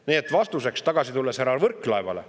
Tulen tagasi vastuse juurde härra Võrklaevale.